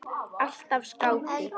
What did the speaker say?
Alltaf skáti.